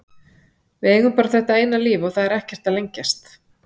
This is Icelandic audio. Við eigum bara þetta eina líf og það er ekkert að lengjast.